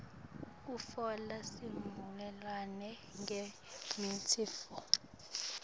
kutfola sivumelwano ngemitsetfo